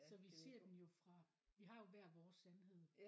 Så vi ser den jo fra vi har jo hver vores sandhed